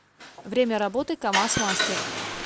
время работы камаз мастер